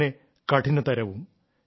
അത്രതന്നെ കഠിനതരവും